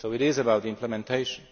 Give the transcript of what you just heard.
So it is about implementation.